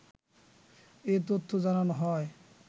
এ তথ্য জানানো হয়।